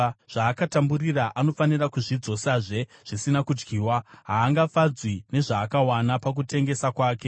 Zvaakatamburira anofanira kuzvidzosazve zvisina kudyiwa; haangafadzwi nezvaakawana pakutengesa kwake.